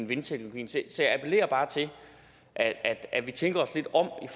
vindteknologien så jeg appellerer bare til at at vi tænker os lidt om